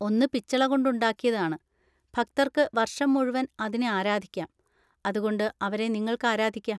ഒന്ന് പിച്ചള കൊണ്ട് ഉണ്ടാക്കിയതാണ്, ഭക്തർക്ക് വർഷം മുഴുവൻ അതിനെ ആരാധിക്കാം, അതുകൊണ്ട് അവരെ നിങ്ങൾക്ക് ആരാധിക്കാം.